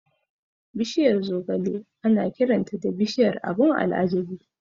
Bishiyar zogale ana kiranta da "Bishiyar abun al'ajabi".